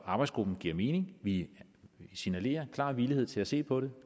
arbejdsgruppen giver mening vi signalerer klar villighed til at se på det